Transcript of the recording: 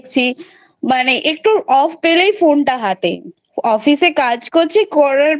মানে একটু Off পেলেই Phone টা হাতে Office এ কাজ করছি করার